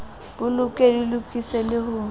bolokwe di lokiswe le ho